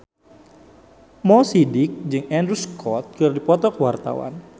Mo Sidik jeung Andrew Scott keur dipoto ku wartawan